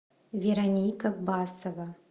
вероника басова